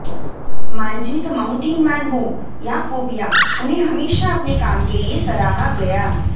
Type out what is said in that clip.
Manjhi the Mountain Man हो या Phobia उन्हें हमेशा अपने काम के लिए सराहा गया